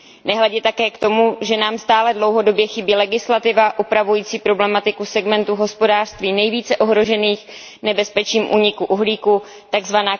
Nehledě také k tomu, že nám stále dlouhodobě chybí legislativa upravující problematiku segmentu v hospodářství nejvíce ohrožených nebezpečím úniku uhlíku, tzv.